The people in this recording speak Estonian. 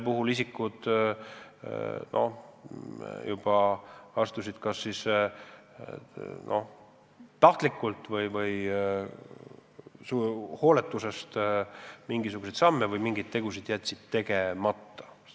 Teatud isikud astusid kas tahtlikult või hooletusest mingisuguseid samme või jätsid midagi tegemata.